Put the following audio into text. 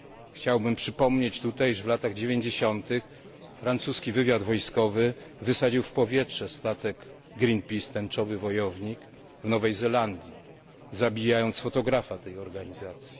Chciałbym przypomnieć tutaj, że w latach dziewięćdziesiątych francuski wywiad wojskowy wysadził w powietrze statek Greenpeace Tęczowy wojownik w Nowej Zelandii, zabijając fotografa tej organizacji.